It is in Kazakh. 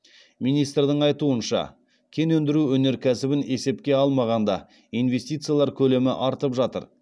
министрдің айтуынша кен өндіру өнеркәсібін есепке алмағанда инвестициялар көлемі артып жатыр